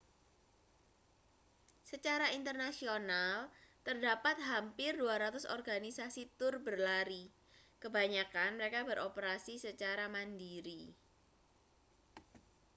secara internasional terdapat hampir 200 organisasi tur berlari kebanyakan mereka beroperasi secara mandiri